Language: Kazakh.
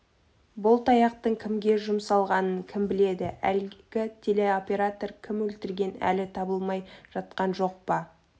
бұл таяқтың кімге жұмсалғанын кім біледі әлгі телеоператор кім өлтірген әлі табылмай жатқан жоқ па